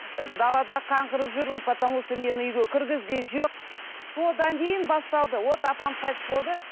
і далада қаңғырып жүрмін потому что мені үйге кіргізген жоқ содан кейін басталды вот апам қайтыс болды